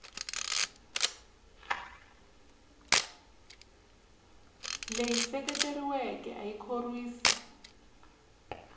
leyi seketeriweke a yi khorwisi